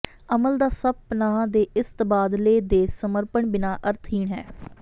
ਅਮਲ ਦਾ ਸਭ ਪਨਾਹ ਦੇ ਇਸ ਤਬਾਦਲੇ ਦੇ ਸਮਰਪਣ ਬਿਨਾ ਅਰਥਹੀਣ ਹੈ